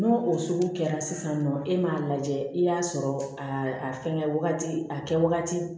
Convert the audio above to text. N'o o sugu kɛra sisan nɔ e m'a lajɛ i y'a sɔrɔ a a fɛngɛ wagati a kɛ wagati